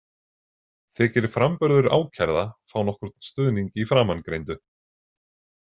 Þykir framburður ákærða fá nokkurn stuðning í framangreindu.